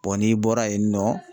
n'i bɔra yen nɔ